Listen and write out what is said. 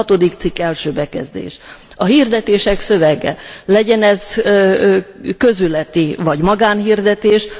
6. cikk bekezdés a hirdetések szövege, legyen ez közületi vagy magánhirdetés.